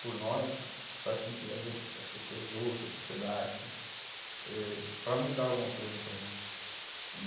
por nós, faz com que as outras, as pessoas ouçam a sociedade eh para mudar alguma coisa para a gente. E